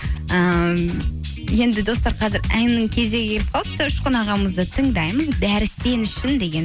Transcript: ыыы енді достар қазір әннің кезегі келіп қалыпты ұшқын ағамызды тыңдаймыз бәрі сен үшін деген